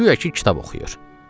Guya ki, kitab oxuyur.